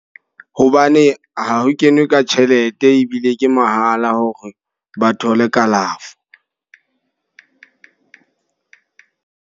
Hobane ha ho kenwe ka tjhelete ebile ke mahala hore ba thole kalafo.